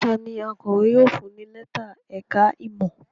Ta ni akọ̀wé yóò fún ní lẹ́tà ẹ̀ka-ìmọ̀?